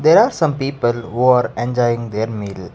there are some people who are enjoying the meal.